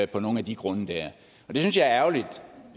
på nogle af de grunde og det synes jeg er ærgerligt